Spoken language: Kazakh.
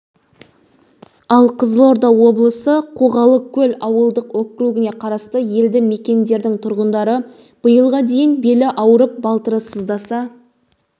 ал қызылорда облысы қоғалыкөл ауылдық округіне қарасты елді мекендердің тұрғындары биылға дейін белі ауырып балтыры сыздаса